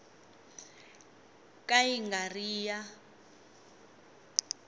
ka yi nga ri ya